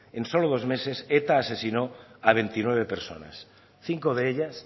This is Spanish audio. en solo dos meses eta asesinó a veintinueve personas cinco de ellas